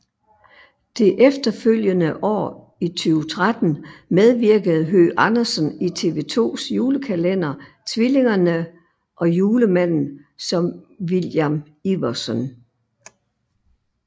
Det efterfølgende år i 2013 medvirkede Høgh Andersen i TV 2s julekalender Tvillingerne og Julemanden som William Iversen